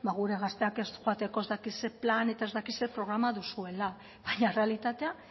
gure gazteak ez joateko ez dakit zein plan eta ez dakit zein programa duzuela baina errealitatea